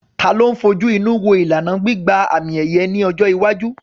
Ta ló ń fojú inú wo ìlànà gbígba àmì-ẹ̀yẹ ní ọjọ́ iwájú?